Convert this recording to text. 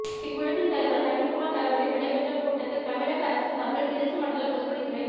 இக்குழுவின் தலைவர் நவீன்குமார் தலைமையில் நடைபெற்ற கூட்டத்தில் தமிழக அரசின் சார்பில் திருச்சி மண்டல பொதுப்பணித்துறை